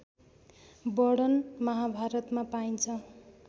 वर्णन महाभारतमा पाइन्छ